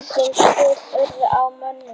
Engin slys urðu á mönnum.